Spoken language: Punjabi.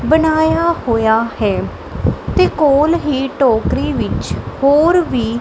ਬਣਾਇਆ ਹੋਇਆ ਹੈ ਤੇ ਕੋਲ ਹੀ ਟੋਕਰੀ ਵਿੱਚ ਹੋਰ ਵੀ --